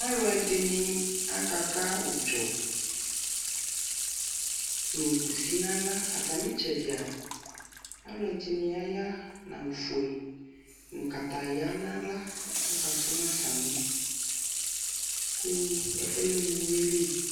alʋɛdini aka ka ʋdzɔ nʋ kʋsi nʋ ala, atami itsɛdia alʋɛdini aya nʋ awʋ ƒʋɛ nʋ kataya nʋ ala kʋ aka ƒʋma sami kʋ ɛƒʋɛ lɛmʋ ʋwili